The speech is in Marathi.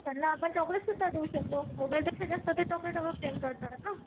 त्यांना आपण चॉकोलेट सुद्धा देऊ शकतो. मोबाईल पेक्षा जास्त चॉकोलेटवर प्रेम करतात ना.